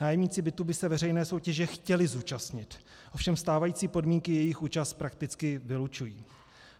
Nájemníci bytů by se veřejné soutěže chtěli zúčastnit, ovšem stávající podmínky jejich účast prakticky vylučují.